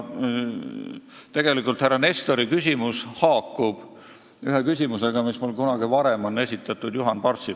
Tegelikult härra Nestori küsimus haakub ühe küsimusega, mille kunagi varem esitas mulle Juhan Parts.